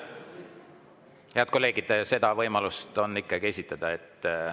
Head kolleegid, seda on võimalus ikkagi esitada.